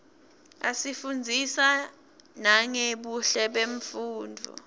asifundzisa nangebuhle bemfunduo